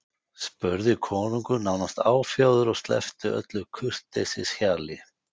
spurði konungur nánast áfjáður og sleppti öllu kurteisishjali.